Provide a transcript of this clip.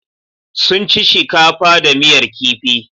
Sun ci shikafa da miyar kifi.